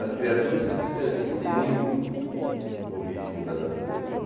As criaturas se distanciam muito do ritmo da natureza.